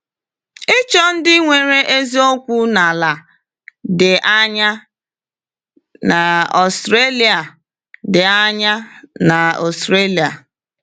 Ịchọ Ndị Nwere Ezi Okwu n’ala dị anya n’Australia dị anya n’Australia